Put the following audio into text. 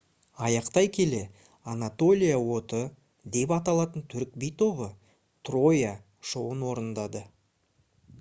аяқтай келе «анатолия оты» деп аталатын түрік би тобы «троя» шоуын орындады